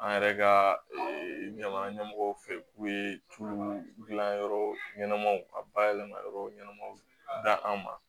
An yɛrɛ ka ɲama ɲɛmɔgɔw fɛ k'u ye tulu dilan yɔrɔ ɲɛnamaw ka bayɛlɛma yɔrɔw ɲɛnamaw da an ma